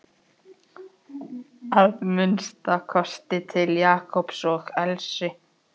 Að minnsta kosti til Jakobs og Elsu.